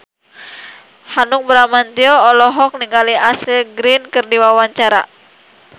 Hanung Bramantyo olohok ningali Ashley Greene keur diwawancara